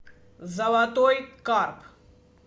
золотой карп